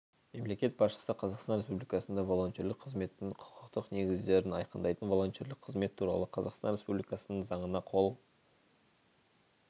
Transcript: мемлекет басшысы қазақстан республикасында волонтерлік қызметтің құқықтық негіздерін айқындайтын волонтерлік қызмет туралы қазақстан республикасының заңына қол